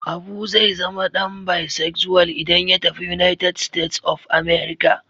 Abu zai zama dan bisexual idan ya tafi United States of America.